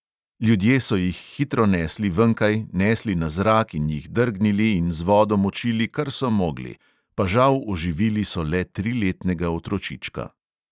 Ljudje so jih hitro nesli venkaj, nesli na zrak in jih drgnili in z vodo močili, kar so mogli; pa žal oživili so le triletnega otročička.